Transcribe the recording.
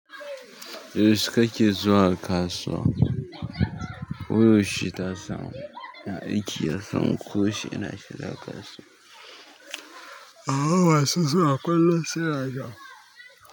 Yaushe kake zuwa kasuwa? Wai yaushe ta samu? Na aiki, ran kusi ina shiga kasuwa. A'a wasu suna kullum suna zuwa.